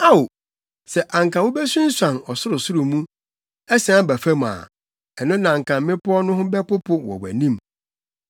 Ao, sɛ anka wubesunsuane ɔsorosoro mu, asian aba fam a, ɛno na anka mmepɔw no ho bɛpopo wɔ wʼanim!